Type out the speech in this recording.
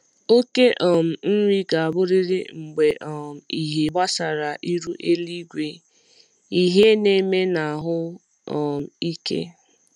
okề um nri ga aburịrị mgbe um ịhe gbasara iru eluigwe, ịhe n’eme na ahụ um ike